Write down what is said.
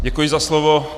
Děkuji za slovo.